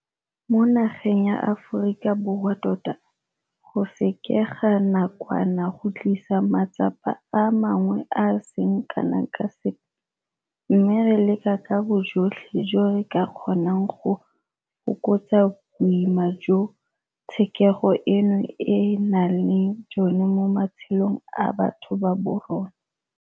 Mo nageng ya Aforika Borwa tota, go sekega nakwana go tlisa matsapa a mangwe a a seng kana ka sepe, mme re leka ka bojotlhe jo re ka kgonang go fokotsa boima jo tshekego eno e nang le jone mo matshelong a batho ba borona.